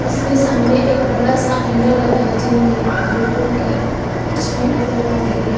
इसमें सामने एक बड़ा सा आईना लगा है जिनमें लोगों की परछाई नजर आ रही है।